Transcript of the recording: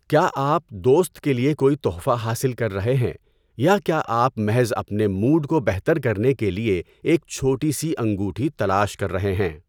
کیا آپ دوست کے لیے کوئی تحفہ حاصل کر رہے ہیں، یا کیا آپ محض اپنے موڈ کو بہتر کرنے کے لیے ایک چھوٹی سی انگوٹھی تلاش کر رہے ہیں؟